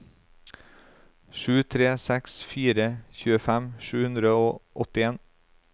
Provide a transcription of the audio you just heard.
sju tre seks fire tjuefem sju hundre og åttien